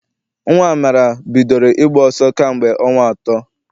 Nnwa Amara bidoro ịgba ọsọ kamgbe ọnwa atọ.